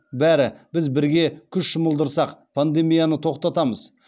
бәрі біз бірге күш жұмылдырсақ пандемияны тоқтатамыз